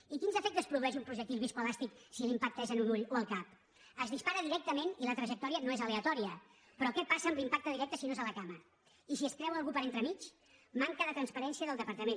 i quins efectes produeix un projectil viscoelàstic si l’impacte és en un ull o al cap es dispara directament i la trajectòria no és aleatòria però què passa amb l’impacte directe si no és a la cama i si es creua algú per entremig manca de transparència del departament